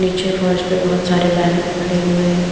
नीचे फर्श पे बहुत सारे बैनर पड़े हुए हैं।